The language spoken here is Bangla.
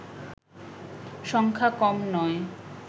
সংখ্যা কম নয়